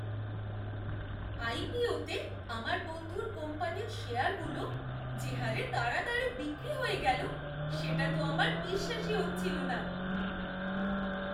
আইপিওতে আমার বন্ধুর কোম্পানির শেয়ারগুলো যে হারে তাড়াতাড়ি বিক্রি হয়ে গেল সেটা তো আমার বিশ্বাসই হচ্ছিল না!